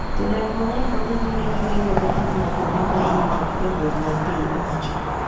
Jodak mang'eny pod dhi nyime gi ringo ka giwuok kuonde ma irito gi jolweny mag piny owacho